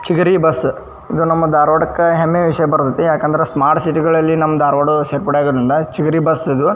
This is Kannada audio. ಚಿಗರಿ ಬಸ್ಸ ಈಗ ನಮ್ಮ ಧಾರವಾಡಕ್ಕೆ ಹೆಮ್ಮೆಯ ವಿಷಯ ಬರತೈತಿ ಯಾಕಂದ್ರೆ ಸ್ಮಾರ್ಟ್ ಸಿಟಿ ಅಲ್ಲಿ ನಮ್ಮ ಆಹ್ಹ್ ರೋಡ್ ಸೇರ್ಪಡೆ ಅಗೋದ್ರಿಂದ ಚಿಗರಿ ಬಸ್ಸಇದು --